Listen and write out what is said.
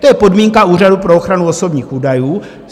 To je podmínka Úřadu pro ochranu osobních údajů.